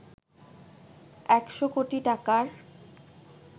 ১০০ কোটি টাকার